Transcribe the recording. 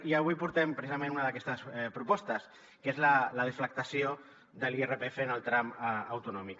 i avui portem precisament una d’aquestes propostes que és la deflactació de l’irpf en el tram autonòmic